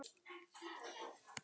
Elsku fallega vinkona mín.